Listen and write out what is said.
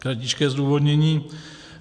Kratičké zdůvodnění.